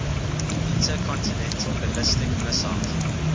intercontinental ballistic missiles